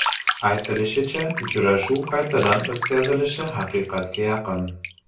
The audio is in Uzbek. Aytilishicha, uchrashuv qaytadan o‘tkazilishi haqiqatga yaqin.